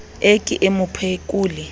e ke e mo phekole